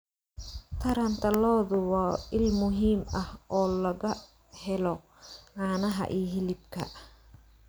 Taranta lo'du waa il muhiim ah oo laga helo caanaha iyo hilibka.